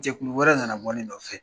Jɛkulu wɛrɛ nana bɔ ne nɔfɛ .